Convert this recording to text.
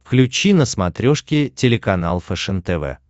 включи на смотрешке телеканал фэшен тв